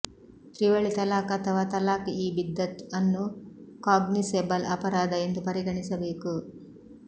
ತ್ರಿವಳಿ ತಲಾಖ್ ಅಥವಾ ತಲಾಕ್ ಇ ಬಿದ್ದತ್ ಅನ್ನು ಕಾಗ್ನಿಸೆಬಲ್ ಅಪರಾಧ ಎಂದು ಪರಿಗಣಿಸಬೇಕು